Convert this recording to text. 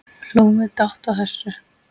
Hlógum við dátt að þessu.